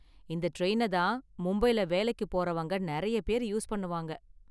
இந்த டிரைன தான் மும்பைல வேலைக்கு போறவங்க நெறைய பேர் யூஸ் பண்ணுவாங்க.